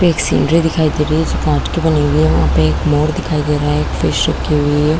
एक चिड़िया दिखाई दे रही है जो कांच की बने हुए है वहाँ पे एक मोर दिखाई दे रहा है एक फिश चिपकी हुई है।